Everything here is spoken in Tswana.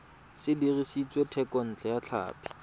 se dirisitswe thekontle ya tlhapi